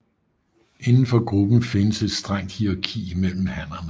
Inden for gruppen findes et strengt hierarki mellem hannerne